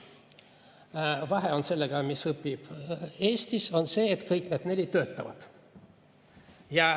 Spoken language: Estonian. Nende vahe selle ühega, kes õpib Eestis, on see, et kõik need neli töötavad.